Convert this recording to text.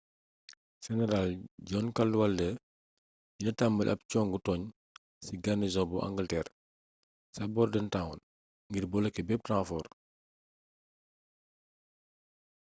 seneraal john cadwalder dina tambali ab congu tooñ ci garnison bu angalteer ca bordentown ngir boloké bépp renfoor